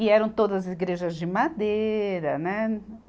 E eram todas igrejas de madeira, né?